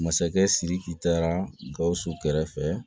Masakɛ sidiki taara gawusu kɛrɛfɛ